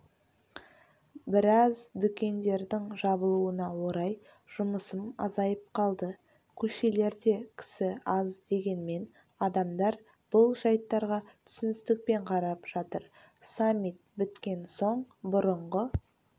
біраз дүкендердің жабылуына орай жұмысым азайып қалды көшелерде кісі аз дегенмен адамдар бұл жайттарға түсіністікпен қарап жатыр саммит біткен соң бұрынғы